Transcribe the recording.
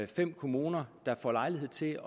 fem kommuner der får lejlighed til